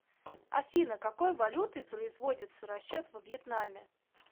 афина какой валютой производится расчет во вьетнаме